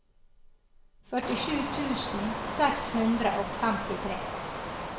førtisju tusen seks hundre og femtitre